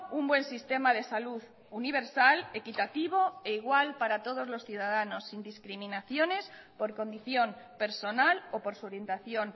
un buen sistema de salud universal equitativo e igual para todos los ciudadanos sin discriminaciones por condición personal o por su orientación